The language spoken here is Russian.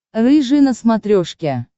рыжий на смотрешке